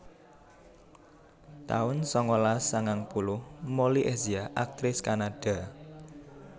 taun sangalas sangang puluh Molly Ezia aktris Kanada